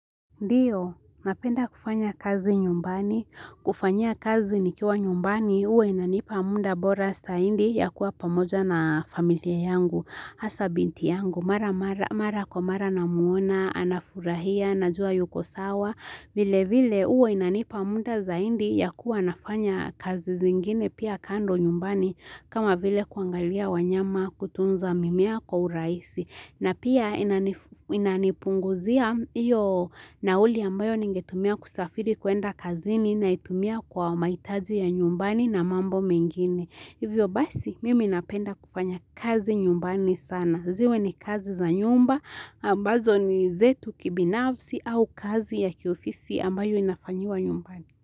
Ndiyo, napenda kufanya kazi nyumbani, kufanyia kazi nikiwa nyumbani, huwa inanipa muda bora zaidi ya kuwa pamoja na familia yangu, hasa binti yangu mara mara mara kwa mara namuona, anafurahia, najua yuko sawa, vile vile huwa inanipa muda zaidi ya kuwa nafanya kazi zingine pia kando nyumbani, kama vile kuangalia wanyama, kutunza mimea kwa urahisi. Na pia inanipunguzia iyo nauli ambayo ningetumia kusafiri kuenda kazini na naitumia kwa mahitaji ya nyumbani na mambo mengine. Hivyo basi, mimi napenda kufanya kazi nyumbani sana. Ziwe ni kazi za nyumba, ambazo ni zetu kibinafsi au kazi ya kiofisi ambayo inafanyiwa nyumbani.